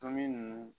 Tomi